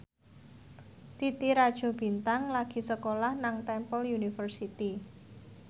Titi Rajo Bintang lagi sekolah nang Temple University